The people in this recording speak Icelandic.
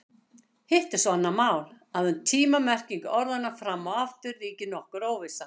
Hitt er svo annað mál að um tíma-merkingu orðanna fram og aftur ríkir nokkur óvissa.